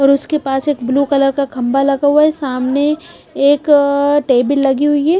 और उसके पास एक ब्लू कलर का खंभा लगा हुआ है सामने एक टेबल लगी हुई है।